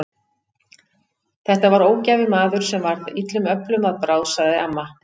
Þetta var ógæfumaður sem varð illum öflum að bráð, sagði amma.